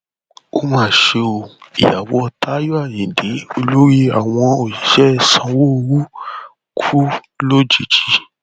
ó mà ṣe o ìyàwó táyọ ayíǹde olórí àwọn òṣìṣẹ sanwóoru kú lójijì